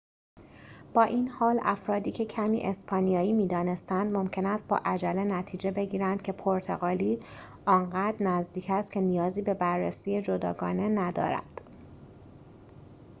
با این حال افرادیکه کمی اسپانیایی می‌دانستند ممکن است با عجله نتیجه بگیرند که پرتغالی آنقدر نزدیک است که نیازی به بررسی جداگانه ندارد